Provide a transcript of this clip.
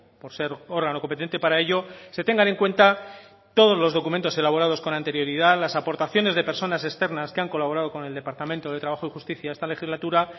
por ser órgano competente para ello se tengan en cuenta todos los documentos elaborados con anterioridad las aportaciones de personas externas que han colaborado con el departamento de trabajo y justicia esta legislatura